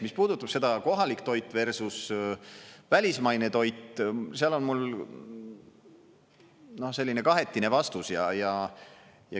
Mis puudutab seda kohalik toit versus välismaine toit, seal on mul selline kahetine vastus.